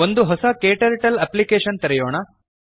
ಒಂದು ಹೊಸ KTurtleನ ಅಪ್ಲಿಕೇಷನ್ ತೆರೆಯೋಣ